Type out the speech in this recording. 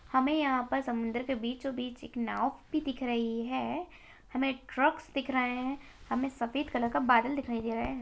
हमें यहाँ पर समुन्दर के बीचों-बीच एक नाव भी दिख रही है हमें ट्रक्स दिख रहें हैं हमें सफेद कलर का बादल दिखाई दे रहा है।